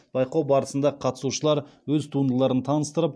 байқау барысында қатысушылар өз туындыларын таныстырып